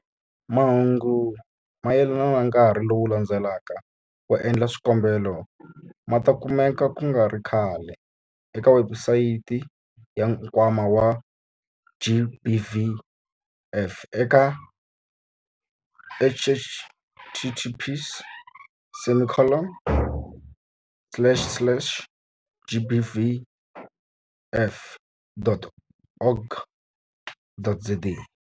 Mahungu mayelana na nkarhi lowu landzelaka wo endla swikombelo ma ta kumeka ku nga ri khale eka webusayiti ya Nkwama wa GBVF eka- https semicolon slash slash gbvf.org.za.